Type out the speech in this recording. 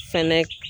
Fɛnɛ